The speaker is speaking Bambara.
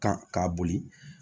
Kan k'a boli